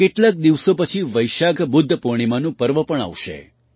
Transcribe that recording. કેટલાક દિવસો પછી વૈશાખ બુદ્ધ પૂર્ણિમાનું પર્વ પણ આવશે